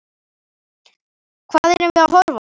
Hvað erum við að horfa á?